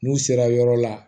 N'u sera yɔrɔ la